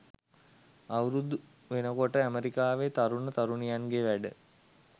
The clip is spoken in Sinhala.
අවුරුදු වෙනකොට ඇමරිකාවෙ තරුණ තරුණියන්ගෙ වැඩ.